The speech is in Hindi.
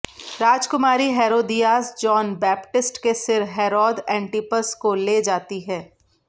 राजकुमारी हेरोदियास जॉन बैपटिस्ट के सिर हेरोद एंटिपस को ले जाती है